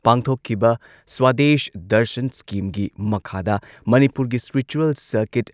ꯄꯥꯡꯊꯣꯛꯈꯤꯕ ꯁ꯭ꯋꯥꯗꯦꯁ ꯗꯔꯁꯟ ꯁ꯭ꯀꯤꯝꯒꯤ ꯃꯈꯥꯗ ꯃꯅꯤꯄꯨꯔꯒꯤ ꯁ꯭ꯄꯤꯔꯤꯆꯨꯋꯜ ꯁꯔꯀꯤꯠ